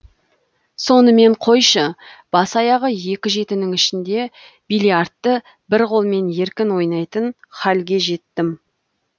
сонымен қойшы бас аяғы екі жетінің ішінде биллиардты бір қолмен еркін ойнайтын халге жеттім